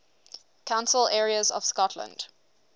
council areas of scotland